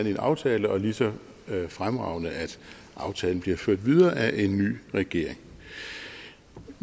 i en aftale og lige så fremragende at aftalen bliver ført videre af en ny regering